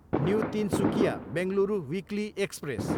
new Tinsukia, Bengaluru weekly express